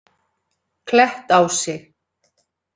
Klettási